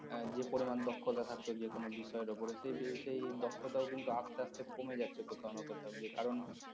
যে পরিমাণ দক্ষতা থাকতো যেকোন বিষয়ের উপর সেই দক্ষতাও কিন্তু আস্তে আস্তে কমে যাচ্ছে কোথাও না কোথাও গিয়ে কারণ